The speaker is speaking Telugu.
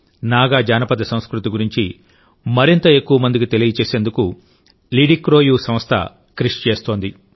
నాగా జానపదసంస్కృతి గురించి మరింత ఎక్కువ మందికి తెలియజేసేందుకులిడిక్రోయుసంస్థ కృషి చేస్తోంది